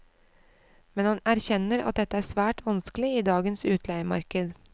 Men han erkjenner at dette er svært vanskelig i dagens utleiemarked.